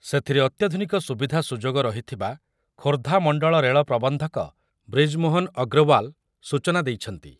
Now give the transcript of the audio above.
ସେଥିରେ ଅତ୍ୟାଧୁନିକ ସୁବିଧା ସୁଯୋଗ ରହିଥିବା ଖୋର୍ଦ୍ଧା ମଣ୍ଡଳ ରେଳ ପ୍ରବନ୍ଧକ ବ୍ରିଜମୋହନ ଅଗ୍ରୱାଲ ସୂଚନା ଦେଇଛନ୍ତି ।